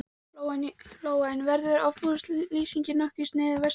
Lóa: En verður útboðslýsingin nokkuð sniðin að vestrænum þyrlum?